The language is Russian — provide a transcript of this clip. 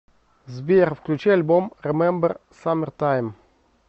сбер включи альбом ремембер саммертайм